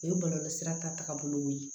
O ye bɔlɔlɔ sira ta tagabolo ye